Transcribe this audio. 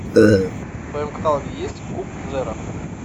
в твоем каталоге есть куб зеро